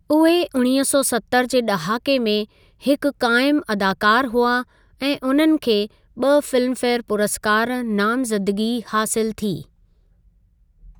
उहे उणिवीह सौ सतरि जे ड॒हाके में हिकु क़ाइमु अदाकारु हुआ ऐं उन्हनि खे ब॒ फिल्मफेयर पुरस्कार नामज़दिगी हासिलु थी।